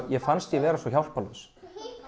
mér fannst ég vera svo hjálparlaus